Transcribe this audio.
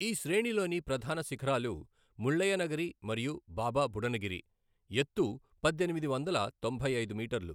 ఈ శ్రేణిలోని ప్రధాన శిఖరాలు ముళ్ళయ్యనగిరి మరియు బాబా బుడనగిరి, ఎత్తు పద్దెనిమిది వందల తొంభై ఐదు మీటర్లు.